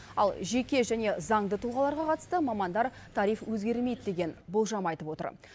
ал жеке және заңды тұлғаларға қатысты мамандар тариф өзгермейді деген болжам айтып отыр